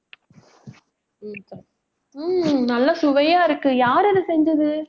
ஹம் நல்லா சுவையா இருக்கு. யார் அதை செஞ்சது